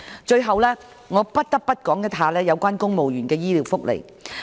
最後我不得不說的是，有關公務員的醫療福利。